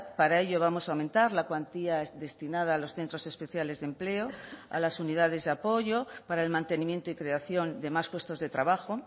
para ello vamos a aumentar la cuantía destinada a los centros especiales de empleo a las unidades de apoyo para el mantenimiento y creación de más puestos de trabajo